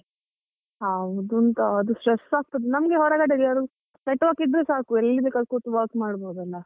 ಹೌದುಂತಾ ಅದು stress ಆಗ್ತದೆ ನಮಗೆ ಹೊರಗಡೆ network ಇದ್ರೆ ಸಾಕು ಎಲ್ಲಿ ಬೇಕಲ್ಲಿ ಕೂತು work ಮಾಡ್ಬೋದಲ್ಲ.